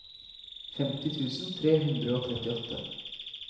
femti tusen tre hundre og trettiåtte